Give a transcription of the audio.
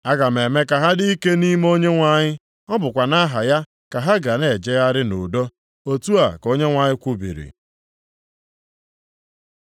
Aga m eme ka ha dị ike nʼime Onyenwe anyị, ọ bụkwa nʼaha ya ka ha ga na-ejegharị nʼudo.” Otu a ka Onyenwe anyị kwubiri.